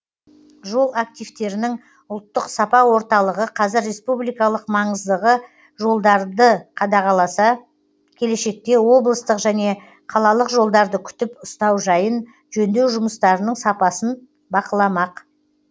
жол активтерінің ұлттық сапа орталығы қазір республикалық маңыздағы жолдарды қадағаласа келешекте облыстық және қалалық жолдарды күтіп ұстау жайын жөндеу жұмыстарының сапасын бақыламақ